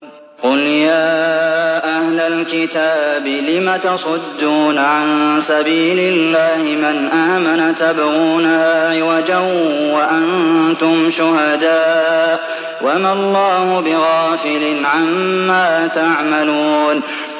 قُلْ يَا أَهْلَ الْكِتَابِ لِمَ تَصُدُّونَ عَن سَبِيلِ اللَّهِ مَنْ آمَنَ تَبْغُونَهَا عِوَجًا وَأَنتُمْ شُهَدَاءُ ۗ وَمَا اللَّهُ بِغَافِلٍ عَمَّا تَعْمَلُونَ